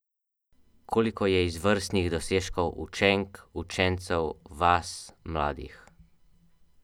Pretekle misije so komete le obletele.